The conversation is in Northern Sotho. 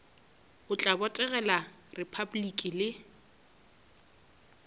o tla botegela repabliki le